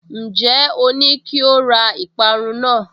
Ǹjẹ́ o ní kí ó ra ìparun náà?